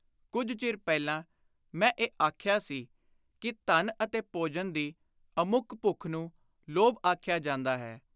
ਕੁਝ ਚਿਰ ਪਹਿਲਾਂ ਮੈਂ ਇਹ ਆਖਿਆ ਸੀ ਕਿ “ਧਨ ਅਤੇ ਭੋਜਨ ਦੀ ਅਮੁੱਕ ਭੁੱਖ ਨੂੰ ਲੋਭ ਆਖਿਆ ਜਾਂਦਾ ਹੈ।